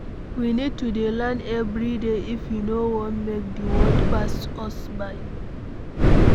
we need to dey learn everyday if we no want make di world pass us by